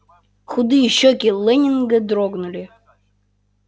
худые щёки лэннинга дрогнули